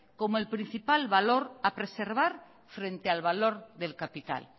como el principal valor a preservar frente al valor del capital